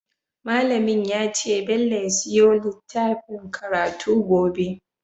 Mallamin yace bello ya siyo littfacin karatu gobe